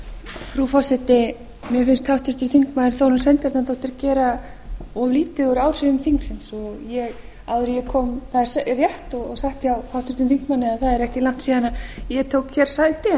frú forseti mér finnst háttvirtur þingmaður þórunn sveinbjarnardóttir gera of lítið úr áhrifum þingsins það er rétt og satt hjá háttvirtum þingmanni að það er ekki langt síðan ég tók hér sæti en það má